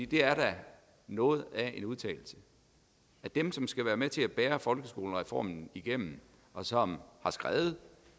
det er da noget af en udtalelse de som skal være med til at bære folkeskolereformen igennem og som har skrevet